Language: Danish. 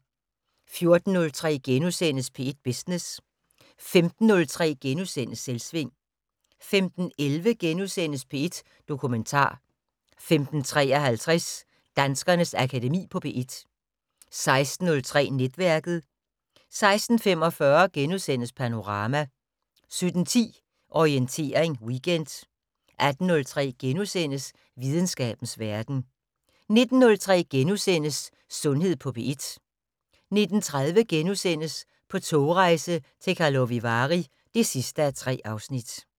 14:03: P1 Business * 15:03: Selvsving * 15:11: P1 Dokumentar * 15:53: Danskernes Akademi på P1 16:03: Netværket 16:45: Panorama * 17:10: Orientering Weekend 18:03: Videnskabens Verden * 19:03: Sundhed på P1 * 19:30: På togrejse til Karlovy Vary (3:3)*